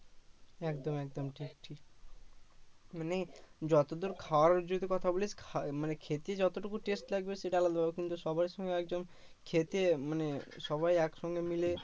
একদম একদম ঠিক ঠিক মানে যতদূর খাওয়ার যদি কথা বলিস মানে খেতে যতটুকু test লাগবে সেটা আলাদা ব্যাপার কিন্তু সবার সঙ্গে একদম খেতে মানে সবাই একসঙ্গে মিলে